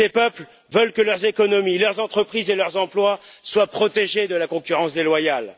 Ces peuples veulent que leurs économies, leurs entreprises et leurs emplois soient protégés de la concurrence déloyale.